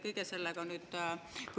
Teie aeg!